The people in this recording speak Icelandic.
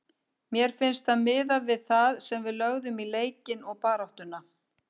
Mér finnst það miðað við það sem við lögðum í leikinn og baráttuna.